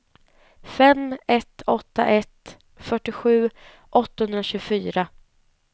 fem ett åtta ett fyrtiosju åttahundratjugofyra